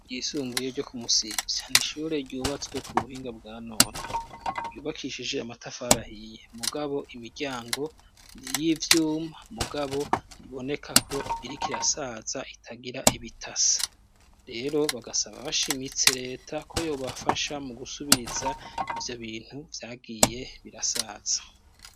Ryisumbuye ryo ku musiza n'ishure ryubatswe ku buhinga bwa none, ryubakishije amatafarari ahiye mugabo imiryango ni iy'ivyuma mugabo riboneka ko iriko irasaza itagira ibitasa. Rero bagasaba bashimitse leta ko yobafasha mu gusubiriza ivyo bintu vyagiye birasaza.